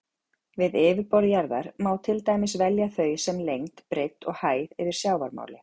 Við yfirborð jarðar má til dæmis velja þau sem lengd, breidd og hæð yfir sjávarmáli.